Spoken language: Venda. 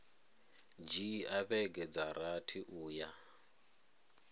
dzhia vhege dza rathi uya